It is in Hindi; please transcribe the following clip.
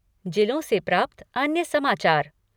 जिलो से प्राप्त अन्य समाचारः